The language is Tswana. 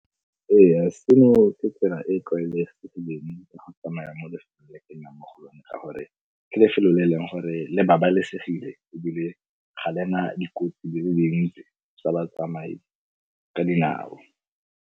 Ee seno ke tsela e tlwaelegileng ya go tsamaya mo lefelong le ke nnang mo go lone ka gore ke lefelo le eleng gore le babalesegile ebile ga le na dikotsi di le dintsi tsa batsamai ka dinao.